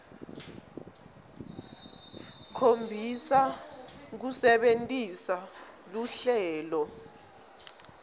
khombisa kusebentisa luhlelo